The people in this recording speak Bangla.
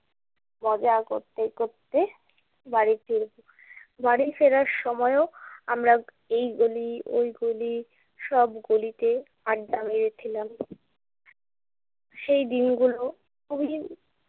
মজা করতে করতে বাড়ি ফিরবো। বাড়ি ফেরার সময়ও আমরা এই গলি ওই গলি সব গলিতে আড্ডা মেরেছিলাম। সেই দিনগুলো খুবই